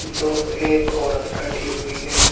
दो एक औरत बैठी हुई है।